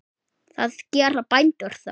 Hvað gera bændur þá?